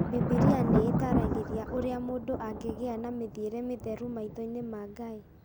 Bibiria nĩ ĩtaaragĩria ũrĩa mũndũ angĩgĩa na mĩthiĩre mĩtheru maitho-inĩ ma Ngai.